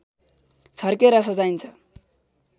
छर्केर सजाइन्छ